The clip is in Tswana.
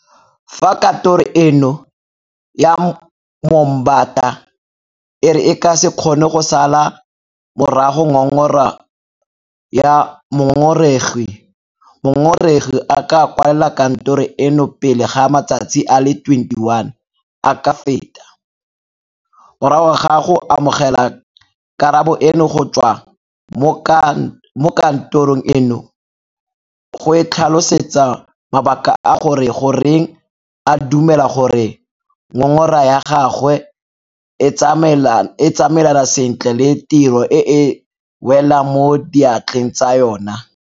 Fa Katoro eno ya Moombata e re e ka se kgone go sala morago ngongora ya mongongoregi, mongongoregi a ka kwalela Katoro eno pele ga matsatsi a le 21 a ka feta, morago ga go amogela karabo eno go tswa mo ka ntorong eno, go e tlhalosetsa mabaka a gore goreng a dumela gore ngongora ya gagwe e tsamaelana sentle le tiro e e welang mo diatleng tsa yona.